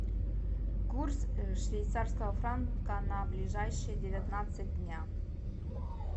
курс швейцарского франка на ближайшие девятнадцать дня